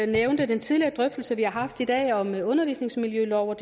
nævnte den tidligere drøftelse vi har haft i dag om en undervisningsmiljølov og